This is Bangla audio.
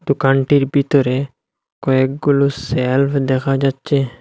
দুকানটির বিতরে কয়েকগুলো স্যালফ দেখা যাচ্চে।